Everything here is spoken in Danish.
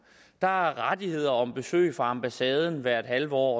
der er rettigheder om besøg fra ambassaden hvert halve år